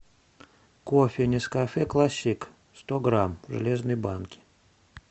кофе нескафе классик сто грамм в железной банке